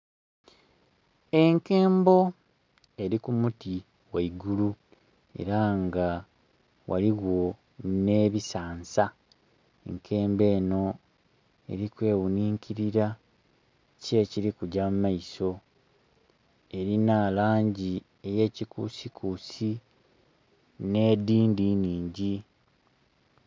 Enkembo eri ku muti gheigulu era nga ghaligho ne bisansa. Enkembo eno eri kweghuninkilira, ki ekilikugya mu maiso? erina langi eye kikusikusi ne dindhi nnhingi.